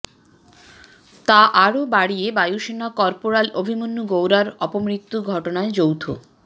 তা আরও বাড়িয়ে বায়ুসেনা কর্পোরাল অভিমন্যু গৌড়ার অপমৃত্যুর ঘটনায় যৌথ